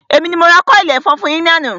Èmi ni mo ra kọ́ọ̀lì ẹ̀fọn fún yín ní àná